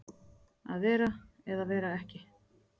Að vera eða vera ekki